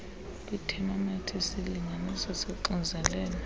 kwiithemometha isilinganiso soxinzelelo